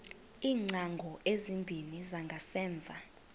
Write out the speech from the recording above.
iingcango ezimbini zangasemva